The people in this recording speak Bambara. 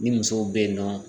Ni musow be yen nɔ